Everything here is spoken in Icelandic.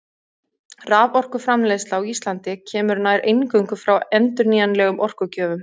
Raforkuframleiðsla á Íslandi kemur nær eingöngu frá endurnýjanlegum orkugjöfum.